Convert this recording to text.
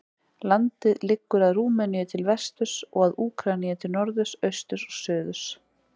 Landið liggur að Rúmeníu til vesturs og að Úkraínu til norðurs, austurs og suðurs.